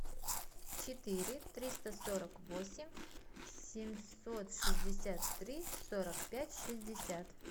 четыре триста сорок восемь семьсот шестьдесят три сорок пять шестьдесят